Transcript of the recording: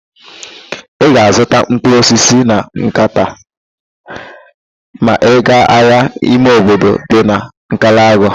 Ị ga-azụta mkpụrụ osisi na nkata ma ị gaa ahịa ime obodo dị na Nkalagụ